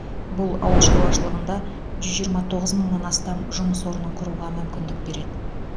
бұл ауыл шаруашылығында жүз жиырма тоғыз мыңнан астам жұмыс орнын құруға мүмкіндік береді